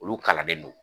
Olu kalannen don